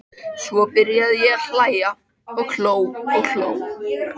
Svo byrjaði ég að hlæja og hló og hló.